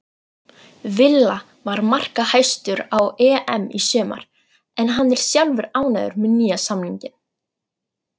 Villa var markahæstur á EM í sumar en hann er sjálfur ánægður með nýja samninginn.